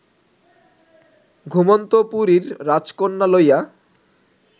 ঘুমন্ত পুরীর রাজকন্যা লইয়া